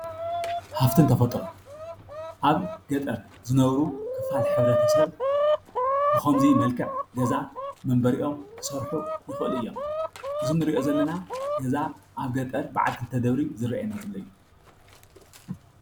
ሃፍትን ተፈጥሮን አብ ገጠር ዝነብሩ ክፋል ሕ/ሰብ ብኾምዚ መልክዕ ገዛ መንበሪኦም ክሰርሑ ይኽእሉ እዮም፡፡ እዚ እንሪኦ ዘለና ገዛ አብ ገጠር በዓል ክልተ ደብሪ ዝረአየና ዘሎ እዩ፡፡